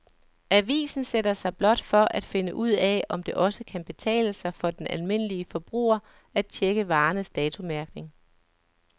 Avisen sætter sig blot for at finde ud af, om det også kan betale sig for den almindelige forbruger at checke varernes datomærkning.